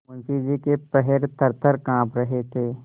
मुंशी जी के पैर थरथर कॉँप रहे थे